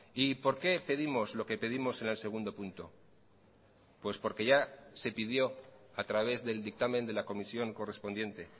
y por qué pedimos lo que pedimos en el segundo punto pues porque ya se pidió a través del dictamen de la comisión correspondiente